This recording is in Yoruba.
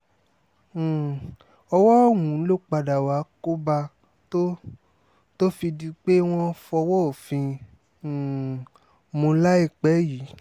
um ọwọ́ ọ̀hún ló padà wàá kó bá a tó tó fi di pé wọ́n fọwọ́ òfin um mú láìpẹ́ yìí